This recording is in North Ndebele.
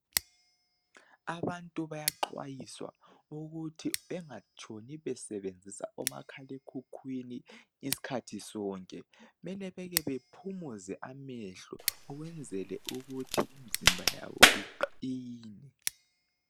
Abantu bayaxwayiswa ukuthi bengatshoni besebenzisa omakhalekhukhwini isikhathi sonke . Kumele beke bephumuze amehlo ukwenzele ukuthi imizimba yabo iqine.